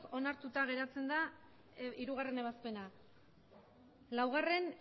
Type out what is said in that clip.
onartuta geratzen da hirugarrena ebazpena laugarrena